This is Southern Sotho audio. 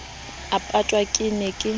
a patwang ke ne ke